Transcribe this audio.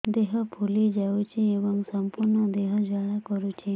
ଦେହ ଫୁଲି ଯାଉଛି ଏବଂ ସମ୍ପୂର୍ଣ୍ଣ ଦେହ ଜ୍ୱାଳା କରୁଛି